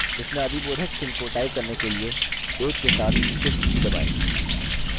विस्मयादिबोधकचिह्न को टाइप करने के लिए 1 के साथ shift की दबाएँ